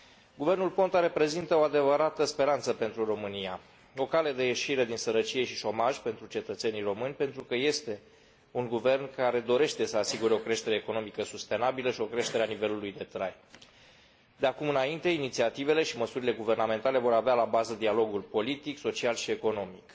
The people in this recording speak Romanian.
Guvernul Ponta reprezintă o adevărată speranță pentru România, o cale de ieșire din sărăcie și șomaj pentru cetățenii români, pentru că este un guvern care dorește să asigure o creștere economică sustenabilă și o creștere a nivelului de trai. De acum înainte, inițiativele și măsurile guvernamentale vor avea la bază dialogul politic, social și economic.